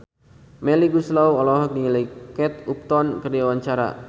Melly Goeslaw olohok ningali Kate Upton keur diwawancara